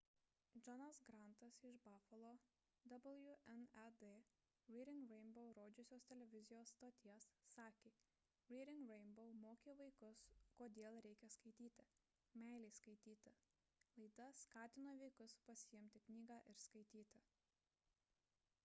johnas grantas iš bafalo wned reading rainbow rodžiusios televizijos stoties sakė: reading rainbow mokė vaikus kodėl reikia skaityti ... meilės skaityti – [laida] skatino vaikus pasiimti knygą ir skaityti